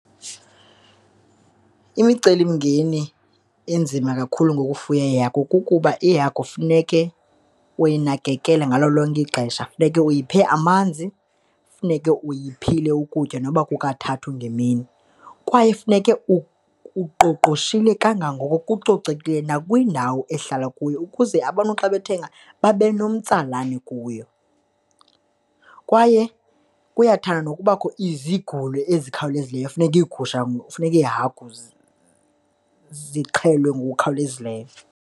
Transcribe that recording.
Imicelimngeni enzima kakhulu ngokufuya iihagu kukuba, ihagu funeke uyanakekele ngalo lonke ixesha. Funeke uyiphe amanzi, funeke uyiphile ukutya nokuba kukathathu ngemini kwaye funeke uqoqoshile kangangoko, kucocekile nakwindawo ehlala kuyo ukuze abantu xa bethenga babe nomtsalane kuyo. Kwaye kuyathanda nokubakho izigulo ezikhawulezileyo funeka iigusha, kufuneka iihagu zixhelwe ngokukhawulezileyo.